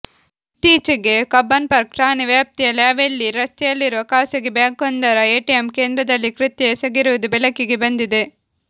ಇತ್ತೀಚೆಗೆ ಕಬ್ಬನ್ಪಾರ್ಕ್ ಠಾಣೆ ವ್ಯಾಪ್ತಿಯ ಲ್ಯಾವೆಲ್ಲಿ ರಸ್ತೆಯಲ್ಲಿರುವ ಖಾಸಗಿ ಬ್ಯಾಂಕ್ವೊಂದರ ಎಟಿಎಂ ಕೇಂದ್ರದಲ್ಲಿ ಕೃತ್ಯ ಎಸಗಿರುವುದು ಬೆಳಕಿಗೆ ಬಂದಿದೆ